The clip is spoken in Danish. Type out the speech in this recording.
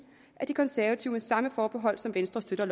at de konservative med samme forbehold som venstre støtter